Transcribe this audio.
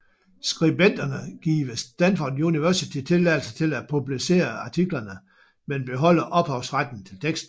Skribenterne giver Stanford University tilladelse til at publicere artiklerne men beholder ophavsretten til teksten